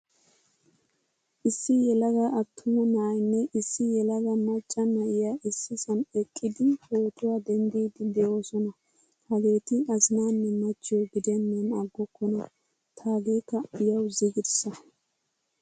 Issi yelaga attuma na'aynne issi yelaga macca na'iyaa issisan eqqidi pootuwaa denddidi deosona. Hagetti azinanne machcho gidenan aggokona. Taagekka yawu ziggirssa.